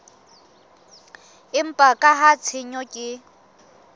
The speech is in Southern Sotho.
empa ka ha tshenyo ke